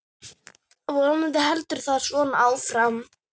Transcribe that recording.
Vonandi heldur þetta svona áfram.